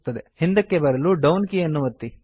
ಹಿಂದಕ್ಕೆ ಬರಲು down key ಯನ್ನು ಒತ್ತಿ